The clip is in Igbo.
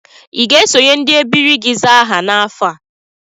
I ga-esonye ndị ebiri gị zaa aha n'afọ a?